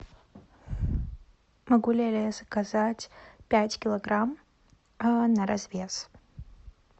могу ли я заказать пять килограмм на развес